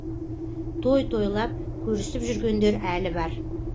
той тойлап көрісіп жүргендер әлі бар